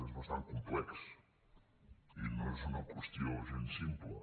és bastant complex i no és una qüestió gens simple